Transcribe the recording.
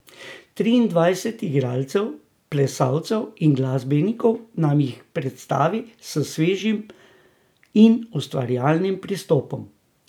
Triindvajset igralcev, plesalcev in glasbenikov nam jih predstavi s svežim in ustvarjalnim pristopom.